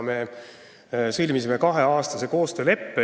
Me sõlmisime kaheaastase koostööleppe.